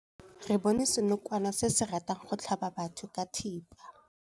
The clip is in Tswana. Re bone senokwane se se ratang go tlhaba batho ka thipa.